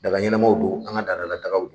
Daga ɲɛnamaw don an ka ladala dagaw don